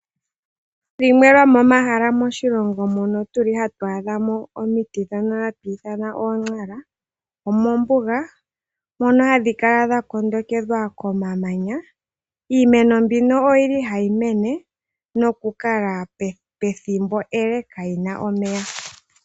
Dhimwe dhomo mahala moshilongo mutuli hatu adha mo omiti ndhono hati ndhono hatu ithana oontsara omombuga. Mono hadhi kala dha kondekedhwa komamanya iimeno mbino oyili hayi mene nokukala pethimbo ele kayina omeya.